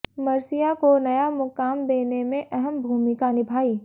मर्सिया को नया मुकाम देने में अहम भूमिका निभाई